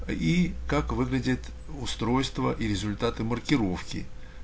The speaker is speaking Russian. и как выглядят устройства и результаты маркировки